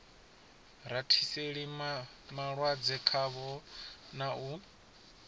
rathiseli malwadze khavho na u